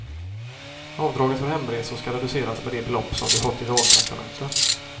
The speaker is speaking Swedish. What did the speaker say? Avdraget för hemresor skall reduceras med det belopp som du fått i dagtraktamente.